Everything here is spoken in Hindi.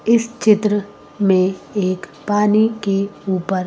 इस चित्र में एक पानी के ऊपर--